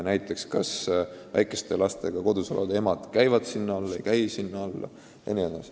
On küsitud, kas näiteks väikeste lastega kodus olevad emad käivad sinna alla või ei käi sinna alla.